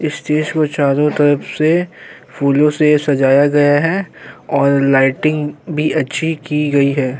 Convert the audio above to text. Stage को चारों तरफ से फूलों से सजाया गया है और लाइटिंग भी अच्छी की गई है।